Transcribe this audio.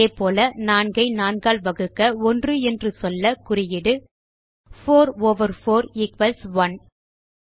அதே போல 4 ஐ 4 ஆல் வகுக்க 1 என்று சொல்ல குறியீடு160 4 ஓவர் 4 ஈக்வல்ஸ் 1